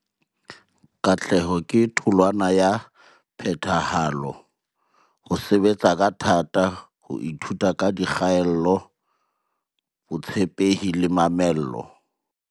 Katleho ke tholwana ya phethahalo, ho sebetsa ka thata, ho ithuta ka dikgaello, botshepehi le mamello.